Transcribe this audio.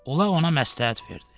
Ulaq ona məsləhət verdi: